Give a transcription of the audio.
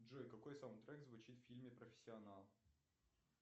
джой какой саундтрек звучит в фильме профессионал